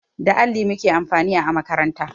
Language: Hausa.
Da alli muke amfani a makaranta